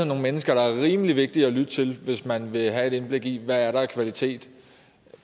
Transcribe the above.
nogle mennesker der er rimelig vigtige at lytte til hvis man vil have et indblik i hvad der er af kvalitet